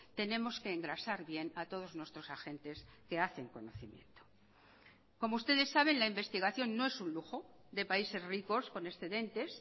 tenemos que engrasar bien a todos nuestros agentes que hacen conocimiento como ustedes saben la investigación no es un lujo de países ricos con excedentes